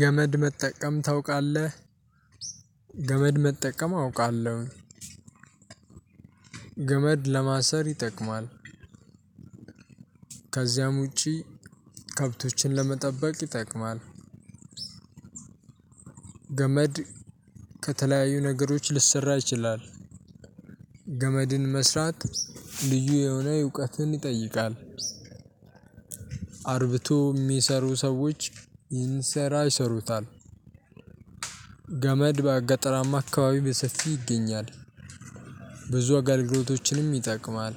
ገመድ መጠቀም ታውቃለህ? ገመድ መጠቀም አውቃለሁ። ገመድ ለማሰር ይጠቅማል። ከዚያም ውጪ ከብቶችን ለመጠበቅ ይጠቅማል። ገመድ ከተለያዩ ነገሮች ልሰራ ይችላል። ገመድን መስራት ልዩ የሆነ እውቀትን ይጠይቃል። አርብቶ የሚሰሩ ሰዎች ይህን ስራ ይሰሩታል። ገመድ በገጣራማ አካባቢ በሰፊው ይገኛል። ብዙ አገልግሎቶችንም ይጠቅማል።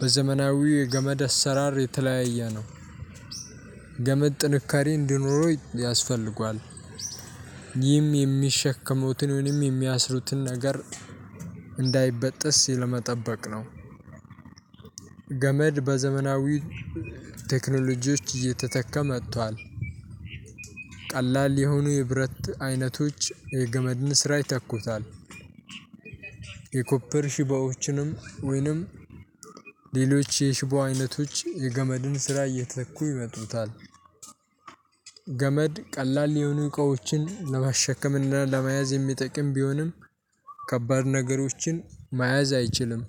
በዘመናዊው የገመድ አሰራር የተለያየ ነው። ገመድ ጥንካሬ እንዲኖረው ያስፈልጋል። ይህም የሚሸከሙትን ወይም የሚያስሩትን ነገር እንዳይበጥስ ሲል መጠበቅ ነው። ገመድ በዘመናዊ ቴክኖሎጂዎች እየተተካ መጥቷል። ቀላል የሆኑ የብረት አይነቶች የገመድን ስራ ይተኩታል። የኮፐር ሽቦዎችንም ወይንም ሌሎች የሽቦ አይነቶች የገመድን ስራ እየተኩ ይመጡታል። ገመድ ቀላል የሆኑ እቃዎችን ለማሸከም እና ለመያዝ የሚጠቅም ቢሆንም ከባድ ነገሮችን መያዝ አይችልም።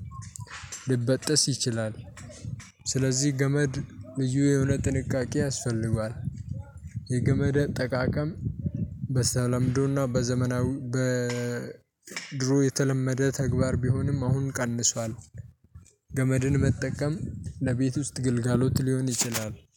ልበጥስ ይችላል። ስለዚህ ገመድ ልዩ የሆነ ጥንቃቄ ያስፈልጋል። የገመደ አጠቃቀም በተለምዶ እና በዘመናዊ በ በድሮ የተለመደ ተግባር ቢሆንም አሁን ቀንሷል። ገመድን መጠቀም ለቤት ውስጥ ግልጋሎት ሊሆን ይችላል